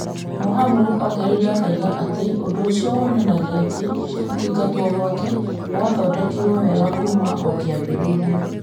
Mohamud ongereire akiuga atĩ ũndũ ũcio wonanagia atĩ kũingatwo gwake gwathondeketwo wega kuuma o kĩambĩrĩria .